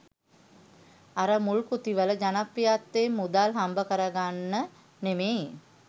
අර මුල් කෘතිවල ජනප්‍රියත්වයෙන් මුදල් හම්බකරගන්න නෙමෙයි.